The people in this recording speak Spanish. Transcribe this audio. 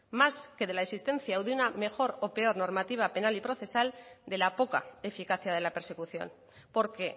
más que de la existencia o de una mejor o peor normativa penal y procesal de la poca eficacia de la persecución porque